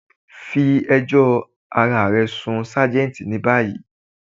Fí èjò arárẹ̀ sun ṣajẹ́ntì ni bayí.